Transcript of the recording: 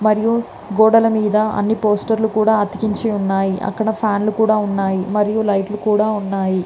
మరియు గోడల మీద అని పోస్టర్ లు కూడా అతికించి ఉన్నాయి . అక్కడ ఫ్యాన్ లు కూడా ఉన్నాయి. మరియు లైట్ లు మరియు కూడా ఉన్నాయి.